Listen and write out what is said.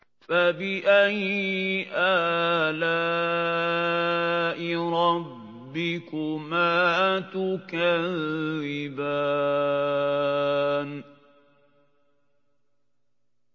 فَبِأَيِّ آلَاءِ رَبِّكُمَا تُكَذِّبَانِ